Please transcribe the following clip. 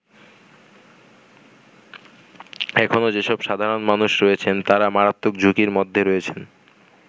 এখনো যেসব সাধারণ মানুষ রয়েছেন তারা মারাত্মক ঝুঁকির মধ্যে রয়েছেন।